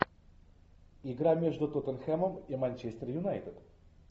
игра между тоттенхэмом и манчестер юнайтед